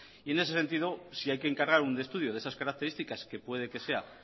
y en ese sentido si hay que encargar un estudio de esas características que puede que sea